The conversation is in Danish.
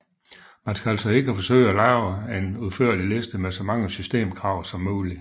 Man skal altså ikke forsøge at lave en udførlig liste med så mange systemkrav som muligt